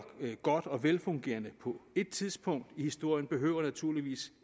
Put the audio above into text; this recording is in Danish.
godt og velfungerende på ét tidspunkt i historien behøver naturligvis